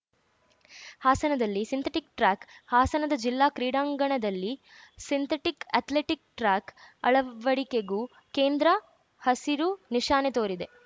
ಹಾಸನದಲ್ಲಿ synthetic track ಹಾಸನದ ಜಿಲ್ಲಾ ಕ್ರೀಡಾಂಗಣದಲ್ಲಿ ಸಿಂಥೆಟಿಕ್‌ ಅಥ್ಲೆಟಿಕ್‌ ಟ್ರ್ಯಾಕ್‌ ಅಳವಡಿಕೆಗೂ ಕೇಂದ್ರ ಹಸಿರು ನಿಶಾನೆ ತೋರಿದೆ